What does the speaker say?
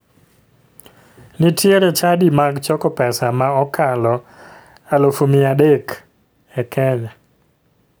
Nitiere chadi mag choko pesa ma okalo 300,000 e kenya.